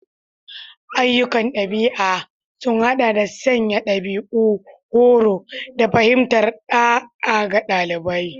Ayyukan ɗabi'a sun haɗa da sanya dabi'u, horo, da fahimtar ɗa'a ga ɗalibai.